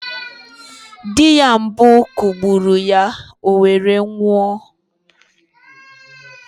Di ya mbụ kụgburụ ya owere nwoụ